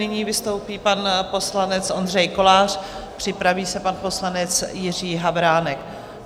Nyní vystoupí pan poslanec Ondřej Kolář, připraví se pan poslanec Jiří Havránek.